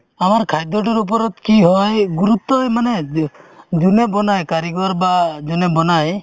আমাৰ খাদ্যতোৰ ওপৰত কি হয় গুৰুত্বই মানে যোনে বনাই কাৰিকৰ বা যোনে বনাই